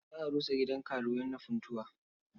Za a rusa gidan karuwai na Funtuwa.